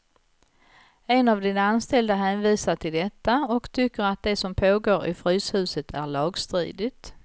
En av dina anställda hänvisar till detta och tycker att det som pågår i fryshuset är lagstridigt.